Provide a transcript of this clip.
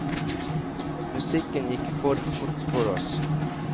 Musikken gikk for fort for oss.